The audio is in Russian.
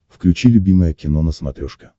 включи любимое кино на смотрешке